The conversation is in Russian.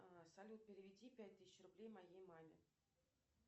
салют переведи пять тысяч рублей моей маме